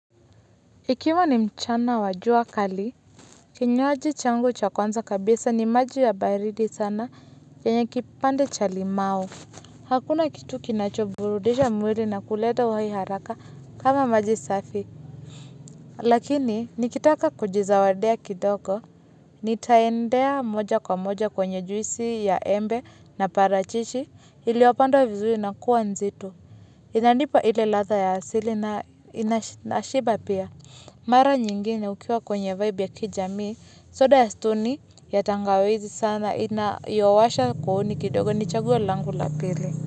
Ikiwa ni mchana wa jua kali, kinywaji changu cha kwanza kabisa ni maji ya baridi sana yenye kipande cha limau. Hakuna kitu kinacho burudisha mwili na kuleta uhai haraka kama maji safi. Lakini, nikitaka kujizawadia kidoko, nitaendea moja kwa moja kwenye juisi ya embe na parachishi, iliopandwa vizuri na kuwa nzito. Inanipa ile ladha ya asili na ina nashiba pia. Mara nyingine ukiwa kwenye vibe ya kijamii. Soda ya stoni ya tangawizi sana inayowasha kooni kidogo ni chaguo langu la pili.